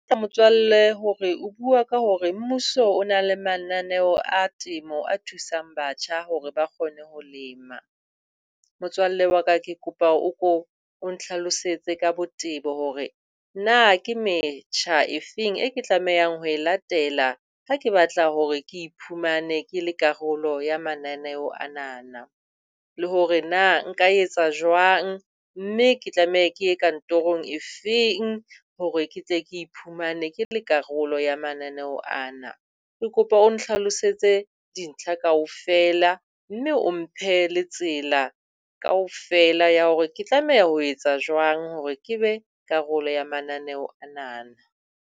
Motswalle hore o bua ka hore mmuso o na le mananeo a temo, a thusang batjha hore ba kgone ho lema. Motswalle wa ka, ke kopa o ko o ntlhalosetse ka botebo hore na ke metjha efeng e ke tlamehang ho e latela ha ke batla hore ke iphumane ke le karolo ya mananeo anana. Le hore na nka etsa jwang, mme ke tlameha ke ye kantorong e feng hore ke tle ke iphumane ke le karolo ya mananeho ana. Ke kopa o ntlhlalosetse dintlha kaofela mme o mphe le tsela kaofela ya hore ke tlameha ho etsa jwang hore ke be karolo ya mananeo anana.